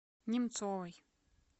немцовой